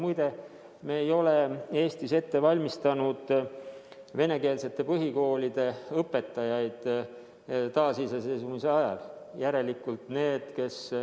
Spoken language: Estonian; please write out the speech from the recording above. Muide, me ei ole Eestis venekeelsete põhikoolide õpetajaid taasiseseisvumisjärgsel ajal ette valmistanud.